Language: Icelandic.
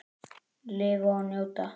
Lifa og njóta.